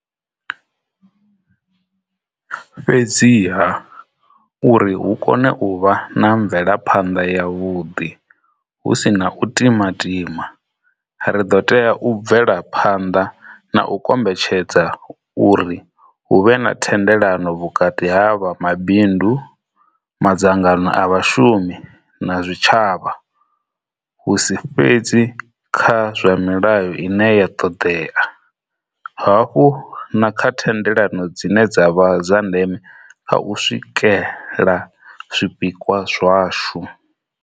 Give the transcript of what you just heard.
Fhedziha, uri hu kone u vha na mvelaphanḓa yavhuḓi hu si na u timatima, ri ḓo tea u bvela phanḓa na u kombetshedza uri hu vhe na thendelano vhukati ha vha mabindu, madzangano a vha shumi na zwi tshavha, hu si fhedzi kha zwa milayo ine ya ṱoḓea, hafhu na kha thendelano dzine dza vha dza ndeme kha u swikela zwipikwa zwashu.